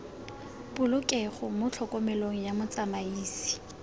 polokego mo tlhokomelong ya motsamaisi